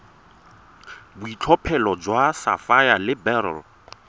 boitlhophelo jwa sapphire le beryl